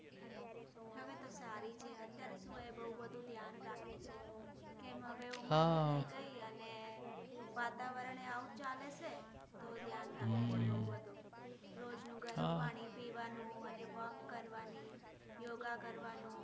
ઉંમર થઇ ગઈ અને વાતાવરણ પણ આવુજ ચાલે છે ધ્યાન રાખવું પડે છે રોજનું ગરમ પાણી પીવાનું walk કરવાનું યોગા કરવાનું